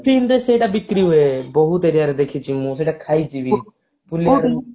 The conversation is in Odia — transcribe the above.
ସେଇଟା ବିକ୍ରି ହୁଏ ବହୁତ area ରେ ଦେଖିଛି ମୁଁ ସେଇଟା ଖାଇଛି ବି ପୁଲିଆରମ